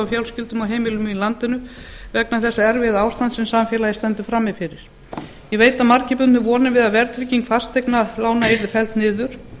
fjölskyldum og heimilum í landinu vegna þess erfiða ástands sem samfélagið stendur frammi fyrir ég veit að margir bundu vonir við að verðtrygging fasteignalána yrði felld niður